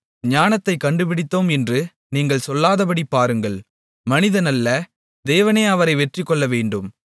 ஞானத்தைக் கண்டுபிடித்தோம் என்று நீங்கள் சொல்லாதபடி பாருங்கள் மனிதனல்ல தேவனே அவரை வெற்றி கொள்ளவேண்டும்